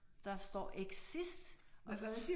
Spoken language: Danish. Der står exist og der